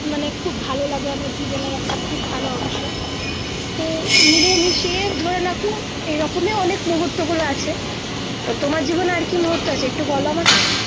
মানে খুব ভালো লাগে জীবনের একটা খুব ভালো অংশ তো মিলে মিশে গ্লোয়েন্ট আপু এই রকমই অনেক মুহুর্তো গুলো আছে তো তোমার জীবনে কি মুহুত আছে একটু বলো আমাকে